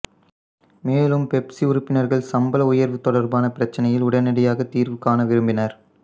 மேலும் பெப்சி உறுப்பினர்கள் சம்பள உயர்வு தொடர்பான பிரச்சினையில் உடனடியாக தீர்வு காண விரும்பினர்